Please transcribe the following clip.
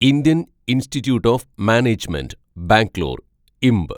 Indian Institute of Management Bangalore (ഇംബ്)